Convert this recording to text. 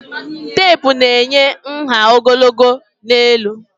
Teepụ na-enye nha ogologo na elu